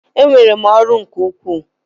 Enwere m ọrụ nke ukwuu.